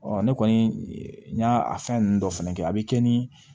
ne kɔni n y'a a fɛn nunnu dɔ fɛnɛ kɛ a bi kɛ ni